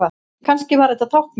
Kannski var þetta táknmál?